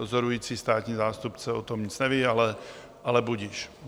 Dozorující státní zástupce o tom nic neví, ale budiž.